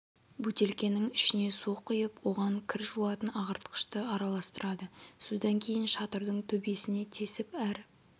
бөтелкенің ішіне су құйып оған кір жуатын ағартқышты араластырады содан кейін шатырдың төбесін тесіп әр